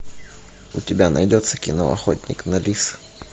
у тебя найдется кино охотник на лис